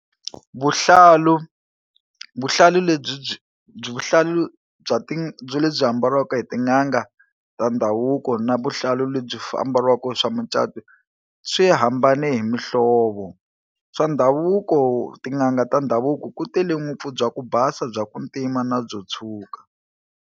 Vuhlalu vuhlalu lebyi byi byi vuhlalu bya ti byo lebyi ambariwaka hi tin'anga ta ndhavuko na vuhlalu lebyi ambariwaka swa mucato swi hambane hi muhlovo swa ndhavuko tin'anga ta ndhavuko ku tele ngopfu bya ku basa, bya ku ntima na byo tshwuka.